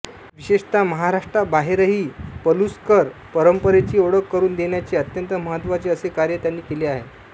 विशेषत महराष्ट्राबाहेरही पलुसकर परंपरेची ओळख करून देण्याचे अत्यंत महत्त्वाचे असे कार्य त्यांनी केले आहे